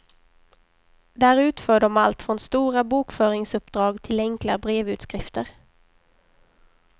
Där utför de allt från stora bokföringsuppdrag till enkla brevutskrifter.